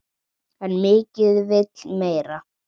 En mikið vill meira.